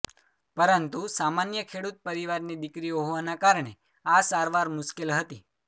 પરંતુ સામાન્ય ખેડૂત પરિવારની દીકરી હોવાને કારણે આ સારવાર મુશ્કેલ હતી